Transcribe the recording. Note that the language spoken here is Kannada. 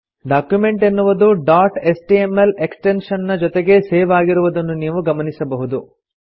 ಡಾಕ್ಯುಮೆಂಟ್ ಎನ್ನುವುದು ಡಾಟ್ ಎಚ್ಟಿಎಂಎಲ್ ಎಕ್ಸ್ಟೆನ್ಶನ್ ನ ಜೊತೆಗೆ ಸೇವ್ ಆಗಿರುವುದನ್ನು ನೀವು ಗಮನಿಸಬಹುದು